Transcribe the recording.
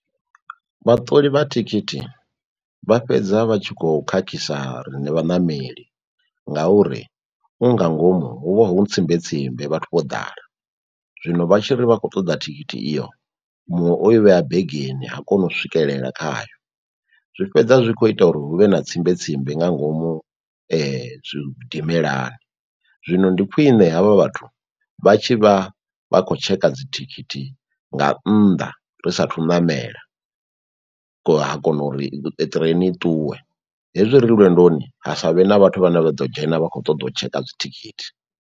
Vhaṱoli vha thikhithi vha fhedza vha tshi kho khakhisa riṋe vhaṋameli ngauri u nga ngomu hu vha hu tsimbe tsimbe vhathu vho ḓala, zwino vha tshi ri vha khou ṱoḓa thikhithi iyo muṅwe oi vhea begeni ha koni u swikelela khayo, zwi fhedza zwi kho ita uri huvhe na tsimbe tsimbe nga ngomu tshidimelani. Zwino ndi khwine havha vhathu vha tshi vha vha khou tshekha dzithikhithi nga nnḓa ri sathu ṋamela ha kona uri ṱireni i ṱuwe, hezwi ri lwendoni ha savhe na vhathu vhane vha ḓo dzhena vha khou ṱoḓa u tshekha dzi thikhithi.